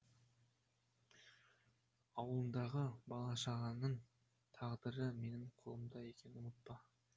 ауылыңдағы бала шағаңның тағдыры менің қолымда екенін ұмытпа